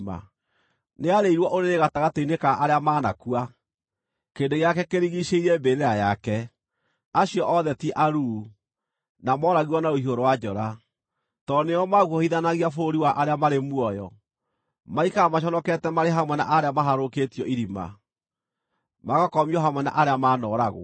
Nĩarĩirwo ũrĩrĩ gatagatĩ-inĩ ka arĩa maanakua, kĩrĩndĩ gĩake kĩrigiicĩirie mbĩrĩra yake. Acio othe ti aruu, na mooragirwo na rũhiũ rwa njora. Tondũ nĩo maaguoyohithanagia bũrũri wa arĩa marĩ muoyo, maikaraga maconokete marĩ hamwe na arĩa maharũrũkĩtio irima; magakomio hamwe na arĩa maanooragwo.